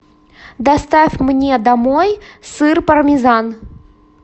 доставь мне домой сыр пармезан